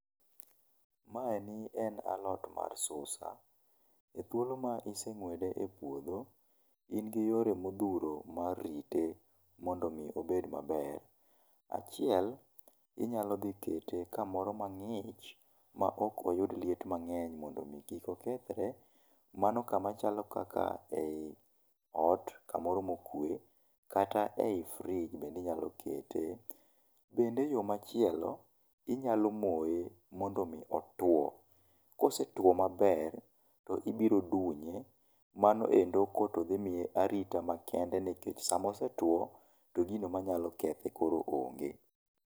Maeni en alot mar susa, e thuolo ma iseng'wede e puodho, in gi yore modhuro mar rite mondo mi obed maber. Achiel, inyalo dhi kete kamoro mang'ich ma ok oyud liet mang'eny mondo mi kik okethre. Mano kama chalo kaka ei ot kamoro ma okwe, kata ei fridge bende inyalo kete. Bende yo machielo, inyalo moe mondo mi otuo. Kosetuo maber to ibiro dunye mano endo ko to dhi miye arita makende nikech sama osetuo to gino manyalo kethe koro onge.